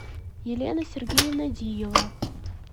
елена сергеевна диева